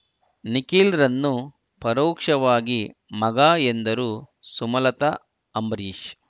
ನಿಖಿಲ್‌ರನ್ನು ಪರೋಕ್ಷವಾಗಿ ಮಗ ಎಂದರು ಸುಮಲತಾ ಅಂಬರೀಶ್